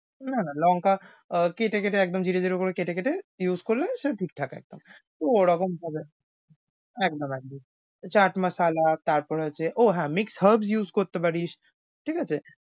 না না লঙ্কা আহ কেটে কেটে একদম ঝিরিঝিরি করে কেটে কেটে use করলে সেটা ঠিকঠাক একদম। ওরকমভাবে একদম । এ chaat masala তারপরে আছে ও হ্যাঁ mix herbs use করতে পারিস, ঠিক আছে?